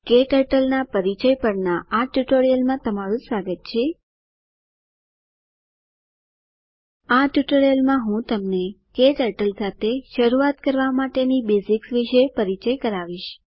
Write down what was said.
ક્ટર્ટલ ના પરિચય પરના આ ટ્યુટોરીયલમાં તમારું સ્વાગત છે આ ટ્યુટોરીયલ માં હું તમને ક્ટર્ટલ સાથે શરૂઆત કરવા માટેની બેઝિક્સ વિષે પરિચય કરાવીશ